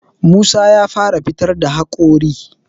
Musa ya fara fitar da haƙori